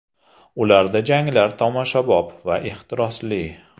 Ularda janglar tomoshabob va ehtirosli.